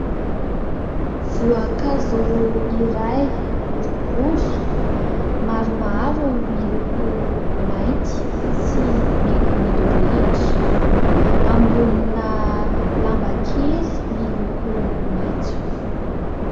Voankazo iray : boribory, maromaro, miloko mainty sy mena midorehitra, ambonina lamba kely miloko maitso.